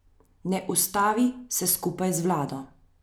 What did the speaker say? Ne ustavi se skupaj z vlado.